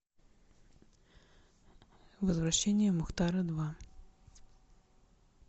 возвращение мухтара два